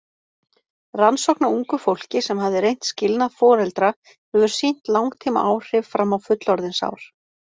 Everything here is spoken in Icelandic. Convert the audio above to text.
Rannsókn á ungu fólki sem hafði reynt skilnað foreldra hefur sýnt langtímaáhrif fram á fullorðinsár.